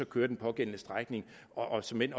køre den pågældende strækning og såmænd